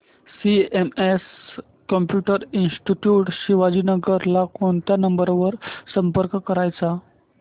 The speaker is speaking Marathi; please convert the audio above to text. सीएमएस कम्प्युटर इंस्टीट्यूट शिवाजीनगर ला कोणत्या नंबर वर संपर्क करायचा